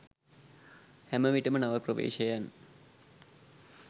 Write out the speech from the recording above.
හැමවිටම නව ප්‍රවේශයන්